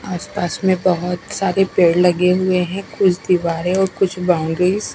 आस पास में बहोत सारे पेड़ लगे हुए हैं कुछ दीवारे और कुछ बाउंड्रीज --